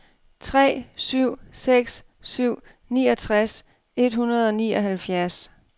tre syv seks syv niogtres et hundrede og nioghalvfjerds